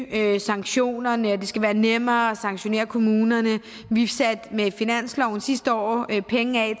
øge sanktionerne og at det skal være nemmere at sanktionere kommunerne vi satte med finansloven sidste år penge af